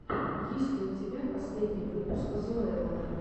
есть ли у тебя последний выпуск зоэллы